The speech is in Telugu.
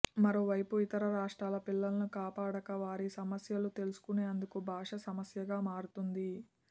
మరోవైపు ఇతర రాష్ట్రాల పిల్లలను కాపాడాక వారి సమస్యలు తెలుసుకునేందుకు భాష సమస్యగా మారుతోంది